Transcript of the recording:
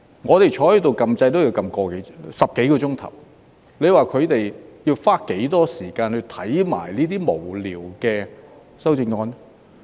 我們坐在這裏按掣也要花10多個小時，你說他們要花多少時間去看那些無聊的修正案？